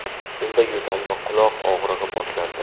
Unda yo‘tal va quloq og‘rig‘i boshlandi.